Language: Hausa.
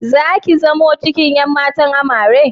Zaki zamo cikin ƴan matan Amarya?